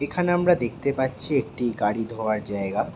এখানে আমরা দেখতে পাচ্ছি একটি গাড়ি ধোয়ার জায়গা।